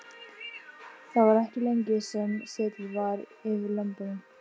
Það var ekki lengi sem setið var yfir lömbunum.